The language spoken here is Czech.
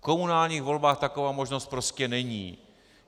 V komunálních volbách taková možnost prostě není.